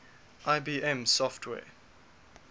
ibm software